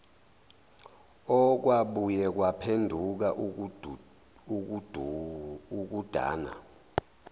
okwabuye kwaphenduka ukudana